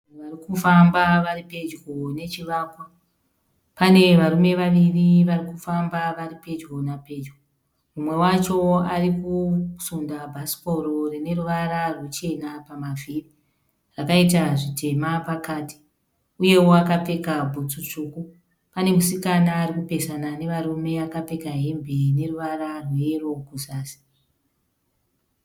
Vanhu varikufamba varipedyo nechivakwa, pane varume vaviri varikufamba varipedyo napedyo, umwe wacho arikusunda bhasikoro rine ruvara ruchena pamavhiri akaita zvitema pakati, uyewo akapfeka bhutsu tsvuku anemusikana arikupesana nevarume vakapfeka hembe ine ruvara hweyero kuzasi.